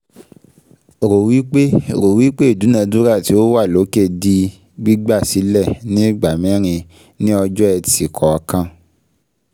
Rò wípé Rò wí pé ìdúnadúrà tí ó wà lókè di gbígbà sílẹ̀ ni ìgbà mẹ́rin ni ọjọ́-ẹtì kọ̀ọ̀kan